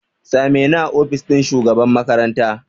Same ni a ofis ɗin shugaban makaranta!